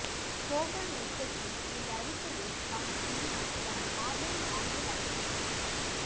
கோபர்நிக்கசின் இந்த அறிக்கையைத் தான் பின்னால் வந்த மாபெரும் வானியல் அறிஞர்களான